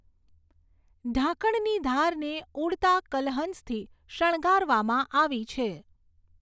ઢાંકણની ધારને ઉડતા કલહંસથી શણગારવામાં આવી છે.